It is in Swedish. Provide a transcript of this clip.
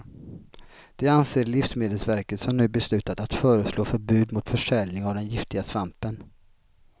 Det anser livsmedelsverket som nu beslutat att föreslå förbud mot försäljning av den giftiga svampen.